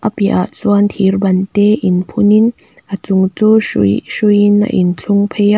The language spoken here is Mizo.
a piah ah chuan thir ban te in phun in a chung chu hrui hrui in a in thlung phei a.